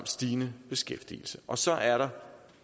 stigende beskæftigelse og så er der